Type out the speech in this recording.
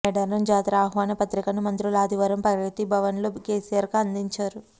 మేడారం జాతర ఆహ్వాన పత్రికను మంత్రు లు ఆదివారం ప్రగతి భవన్లో కేసీఆర్కు అందించారు